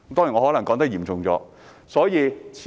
我可能說得嚴重了一些。